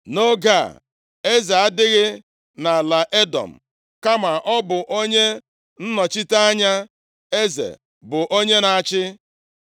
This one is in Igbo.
Nʼoge a, eze adịghị nʼala Edọm, kama ọ bụ onye nnọchite anya eze bụ onye na-achị.